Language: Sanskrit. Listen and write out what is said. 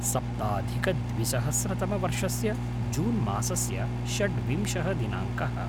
सप्ताधिकद्विसहस्रतमवर्षस्य जून् मासस्य षड्विंशः दिनाङ्कः